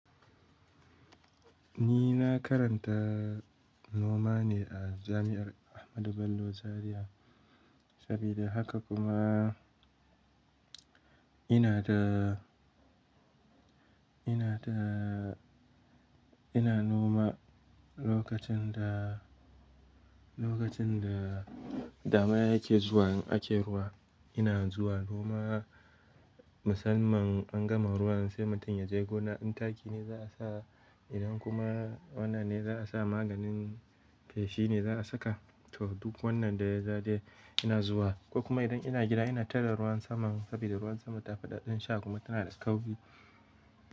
Ni na karanta noma ne a jami'ar Ahmadu Bello Zaria. Saboda haka kuma ina da, ina da, ina noma lokacin da, lokacin da damina take zuwa indan ana ruwa, ina zuwa noma. Musamman an gama ruwa sai mutum ya je gona, indan taki ne za a sa idan kuma wannan ne za a sa maganin feshi ne za a saka to duk wannan da ya zai ina zuwa. Kuma idan ina gida ina tare da ruwan saman sabida ruwan sama tafi ɗan sha kuma tana da tsauri.